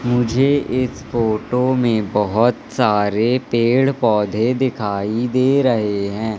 मुझे इस फोटो में बहुत सारे पेड़ पौधे दिखाई दे रहे हैं।